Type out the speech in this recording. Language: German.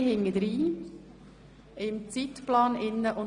Wir sind im Zeitplan ziemlich im Rückstand.